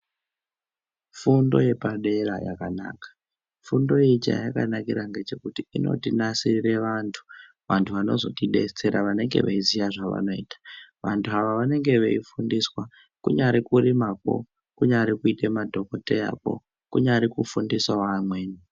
Fundo yepadera yakanaka, fundo iyi chayakanakira ngechekuti inotinasirire vantu, vantu vanozotidetsera vanenge veyiziya zvavanoita. Vantu ava vanenge veyifundiswa kunyari kurimakwo, kunyari kuite madhokodheyakwo, kunyari kufundisawo amweni.